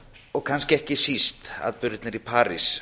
og kannski ekki síst atburðirnir í parís